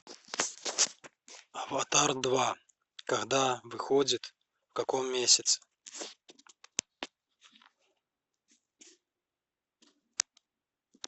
аватар два когда выходит в каком месяце